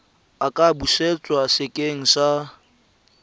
a ka busetswa sekeng sa